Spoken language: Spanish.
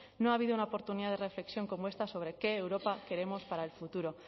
no ha habido una oportunidad de reflexión como esta sobre qué europa queremos para el futuro